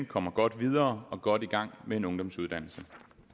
kommer godt videre og godt i gang med en ungdomsuddannelse